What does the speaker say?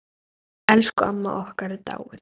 Elsku amma okkar er dáin.